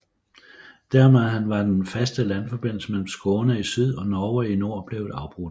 Dermed var den faste landforbindelse mellem Skåne i syd og Norge i nord blevet afbrudt